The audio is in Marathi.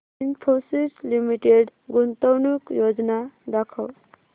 इन्फोसिस लिमिटेड गुंतवणूक योजना दाखव